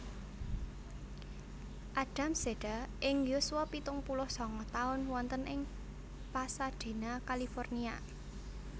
Adams seda ing yuswa pitung puluh sanga taun wonten ing Pasadena California